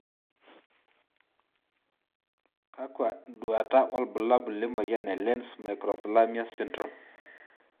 Kakwa nduata wobulabul lemoyiana e Lenz microphthalmia syndrome?